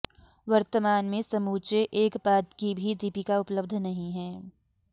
वर्तमान में समूचे एक पाद की भी दीपिका उपलब्ध नहीं है